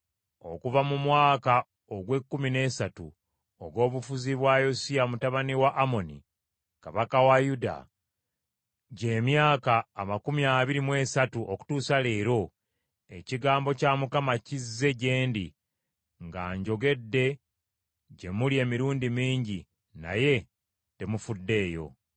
Okuva mu mwaka ogw’ekkumi n’esatu ogw’obufuzi bwa Yosiya mutabani wa Amoni kabaka wa Yuda, gy’emyaka amakumi abiri mu esatu okutuusa leero, ekigambo kya Mukama kizze gye ndi era njogedde gye muli emirundi mingi, naye temufuddeeyo.